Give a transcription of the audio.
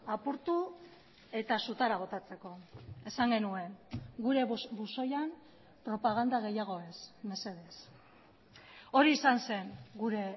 apurtu eta sutara botatzeko esan genuen gure buzoian propaganda gehiago ez mesedez hori izan zen gure